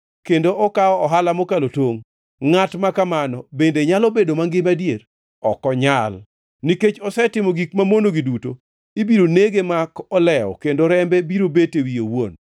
Kendo okawo ohala mokalo tongʼ. Ngʼat ma kamano, bende nyalo bedo mangima adier? Ok onyal! Nikech osetimo gik mamonogi duto, ibiro nege mak olewo kendo rembe biro bet e wiye owuon.